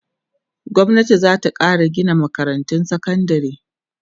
gwamnati zata Kara Gina makarantun sekandari